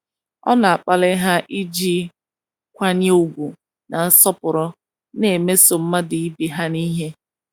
Ọ na - akpali ha iji nkwanye ùgwù na nsọpụrụ na - emeso mmadụ ibe ha ihe.